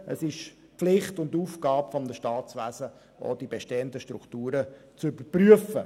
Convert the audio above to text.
Es ist Pflicht und Aufgabe eines Staatswesens, die bestehenden Strukturen zu überprüfen.